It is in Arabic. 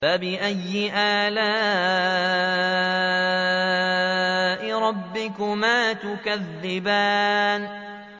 فَبِأَيِّ آلَاءِ رَبِّكُمَا تُكَذِّبَانِ